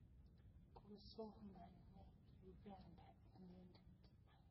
Kosomane Uganda inendet